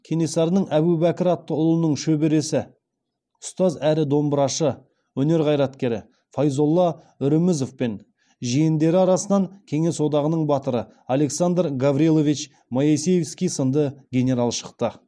кенесарының әбубәкір атты ұлының шөбересі ұстаз әрі домбырашы өнер қайраткері файзолла үрімізов пен жиендері арасынан кеңес одағының батыры александр гаврилович моисеевский сынды генерал шықты